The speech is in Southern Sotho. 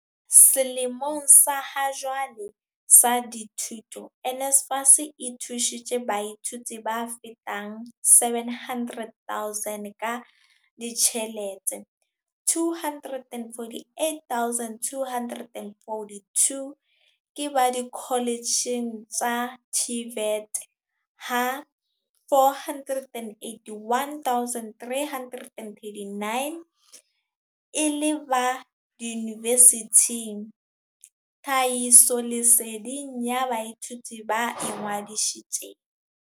Selemong sa hajwale sa dithuto, NSFAS e thusitse baithuti ba fetang 700 000 ka ditjhelete, 248 242 ke ba dikoletjheng tsa TVET ha 481 339 e le ba diyunivesithing thahisoleseding ya baithuti ba ingwadishitje.